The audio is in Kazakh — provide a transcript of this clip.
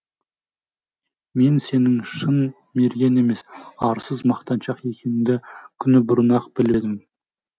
мен сенің шын мерген емес арсыз мақтаншақ екеніңді күні бұрын ақ біліп